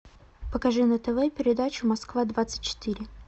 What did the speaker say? покажи на тв передачу москва двадцать четыре